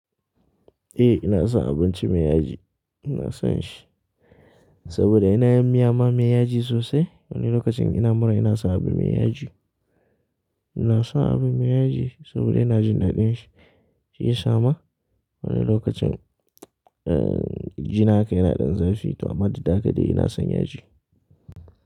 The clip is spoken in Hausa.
Eh ina son abinci mai yaji, ina son shi. Saboda ina yin miya ma me yaji sosai. Wani lokacin ina mura ina sa abu mai yaji. Ina son abu mai yaji saboda ina jin daɗin shi, shi ya sa ma wani lokacin, eh jina haka yana ɗan zafi, amma da dama ina son yaji.